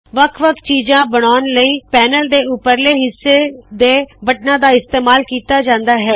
ਵਖ ਵਖ ਚੀਜਾੰ ਬਨਾਉਣ ਲਇ ਪੈਨਲ ਦੇ ਉਪਰਲੇ ਹਿੱਸੇ ਦੇ ਬਟਨਾੰ ਦਾ ਇਸਤੇਮਾਲ ਕੀਤਾ ਜਾੰਦਾ ਹੈ